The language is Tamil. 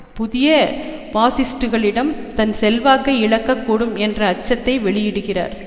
புதிய பாசிஸ்ட்டுக்களிடம் தன் செல்வாக்கை இழக்கக்கூடும் என்ற அச்சத்தை வெளியிடுகிறார்